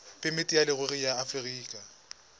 phemiti ya leruri ya aforika